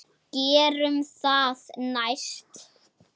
Gerum það næst.